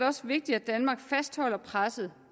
også vigtigt at danmark fastholder presset